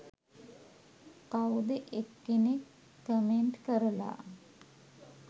කවුද එක්කෙනෙක් කමෙන්ට් කරලා